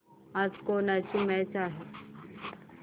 आज कोणाची मॅच आहे